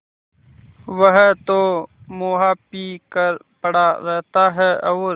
वह तो मुआ पी कर पड़ा रहता है और